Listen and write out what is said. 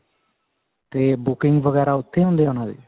ਤੇ booking ਵਗੇਰਾ ਉੱਥੀ ਹੁੰਦਾ ਹੈ ਉਹਨਾ ਦੀ